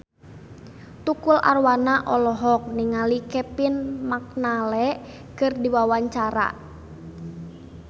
Tukul Arwana olohok ningali Kevin McNally keur diwawancara